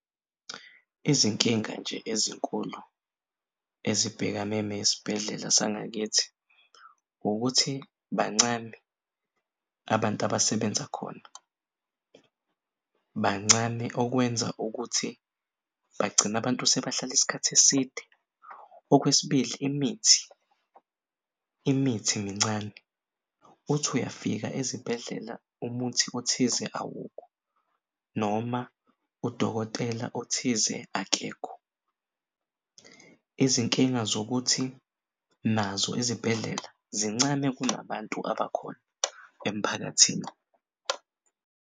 Izinkinga nje ezinkulu ezibhekane nesibhedlela sangakithi ukuthi bancane abantu abasebenza khona bancane okwenza ukuthi bagcine abantu sebahlal'isikhathi eside. Okwesibili imithi, imithi mincane uthi uyafika ezibhedlela umuthi othize awukho noma udokotela othize akekho izinkinga zokuthi nazo izibhedlela zincane kunabantu abakhona emphakathini.